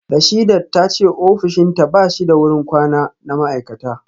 Rasheedat ta ce ofishinta ba shi da wurin kwana na ma’aikata